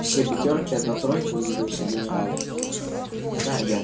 все пятёрки и одна тройка удивился генерал